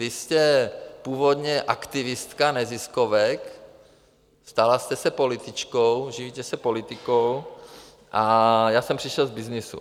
Vy jste původně aktivistka neziskovek, stala jste se političkou, živíte se politikou a já jsem přišel z byznysu.